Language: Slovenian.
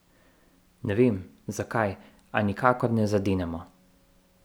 Ne vem, zakaj, a nikakor ne zadenemo.